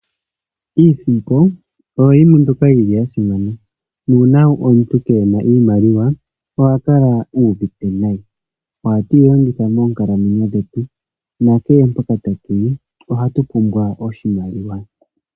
Iisimpo oyo yimwe mbyoka yili yasimana nuuna omuntu keena iimaliwa oha kala uvite nayi. Oha tu yi longitha moonkalamwenyo dhetu nakehe mpoka tatuyi ohatu pumbwa oshimaliwa.